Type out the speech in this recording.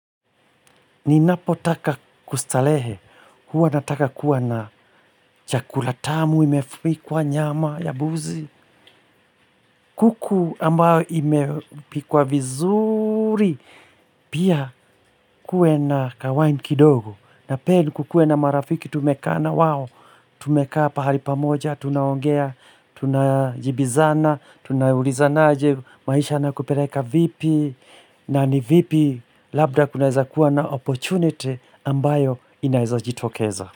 Ninapo taka kustarehe, huwa nataka kuwa na chakula tamu, imepikwa nyama, ya mbuzi, kuku ambayo imepikwa vizuri, pia kuwe na ka wine kidogo, na pia kukuwe na marafiki tumekaa, na wao tumekaa pahali pamoja, tunaongea, tunajibizana, tuna ulizana aje, maisha yanakupeleka vipi, na ni vipi, labda kunaeza kuwa na opportunity ambayo inaezajitokeza.